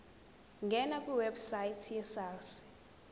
ngena kwiwebsite yesars